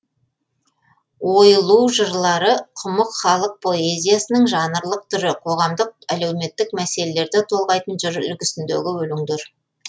ойлу жырлары құмық халық поэзиясының жанрлық түрі қоғамдық әлеуметтік мәселелерді толғайтын жыр үлгісіндегі өлеңдер